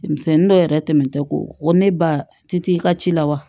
Denmisɛnnin dɔw yɛrɛ tɛmɛn tɛ ko o ne ba ti t'i ka ci la wa